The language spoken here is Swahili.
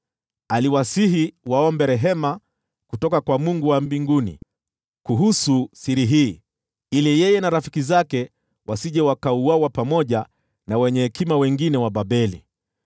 Aliwasihi waombe rehema kutoka kwa Mungu wa mbinguni kuhusu siri hii, ili yeye na rafiki zake wasije wakauawa pamoja na wenye hekima wengine wa Babeli.